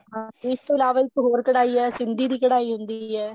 ਹਾਂ ਇਸ ਤੋਂ ਇਲਾਵਾ ਇੱਕ ਹੋਰ ਕਢਾਈ ਹੈ ਸਿੰਧੀ ਦੀ ਕਢਾਈ ਹੁੰਦੀ ਹੈ